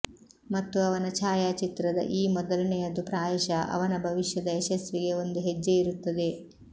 ಮತ್ತು ಅವನ ಛಾಯಾಚಿತ್ರದ ಈ ಮೊದಲನೆಯದು ಬಹುಶಃ ಅವನ ಭವಿಷ್ಯದ ಯಶಸ್ಸಿಗೆ ಒಂದು ಹೆಜ್ಜೆಯಿರುತ್ತದೆ